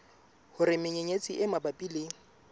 hore menyenyetsi e mabapi le